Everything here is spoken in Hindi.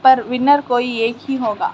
पर विनर कोई एक ही होगा।